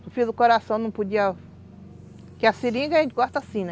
Sofria do coração, não podia... Porque a seringa a gente corta assim, né?